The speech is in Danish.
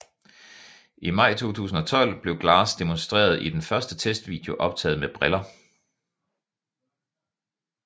I maj 2012 blev Glass demonstreret i den første testvideo optaget med briller